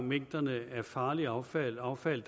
mængderne af farligt affald affald